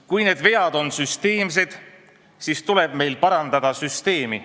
Kui need vead on süsteemsed, siis tuleb meil parandada süsteemi.